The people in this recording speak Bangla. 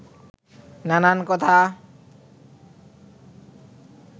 নানান কথা